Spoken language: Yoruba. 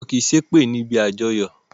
Wọn kì í ṣe èpè níbi àjọyọ̀